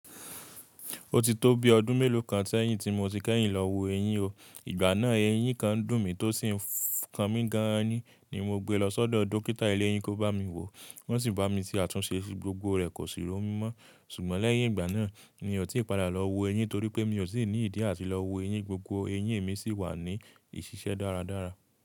Ó ti tó bi ọdún mélòó kan sẹ̀yin ti mo ti kẹ́yìn lọ wo ẹyin o. Ìgbà náà ẹyin kan ndùn mí tó sì ń kan mi gan an ni mo gbe lọ sọ́dọ̀ dókítà eléyi kó bá mi wo. Wọ́n sì bá mi ṣe àtúnṣe síi gbogbo rẹ̀ kò sì ró mọ́. Ṣùgbọ́n lẹ́yìn ìgbà náà ni mi ò tí ì padà lọ wo ẹyin torí pé mi ò sì ní ìdí àti lọ wo ẹyin. Gbogbo ẹyin mi sì wà ní ìṣiṣẹ́ dáradára.